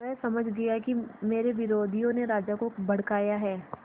वह समझ गया कि मेरे विरोधियों ने राजा को भड़काया है